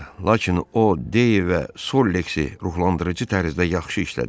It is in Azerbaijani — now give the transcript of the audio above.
Lakin o Dey və Solleksi ruhlandırıcı tərzdə yaxşı işlədir.